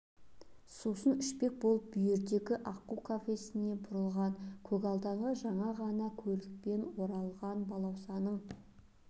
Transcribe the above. сусын ішпек болып бүйірдегі аққу кафесіне бұрылған көгалдағы жаңа ғана көлікпен орылған балаусаның